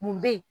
Mun bɛ yen